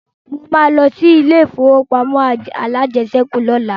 Mo ma lọ sí ilé ìfowópamọ́ alájẹsẹ́kù lọ́la